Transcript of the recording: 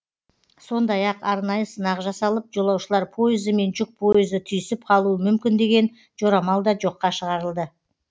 сондай ақ арнайы сынақ жасалып жолаушылар пойызы мен жүк пойызы түйісіп қалуы мүмкін деген жорамал да жоққа шығарылды